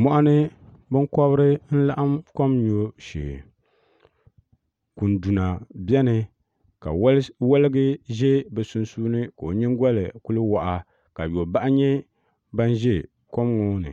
Mɔɣuni binkɔbiri n-laɣim kom nyubu shee kunduna beni ka waligi ʒe bɛ sunsuuni ka o nyingɔli kuli waɣa ka yɔbahi nyɛ ban ʒe kom ŋɔ ni